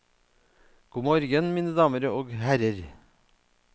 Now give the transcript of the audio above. God morgen, mine damer og herrer.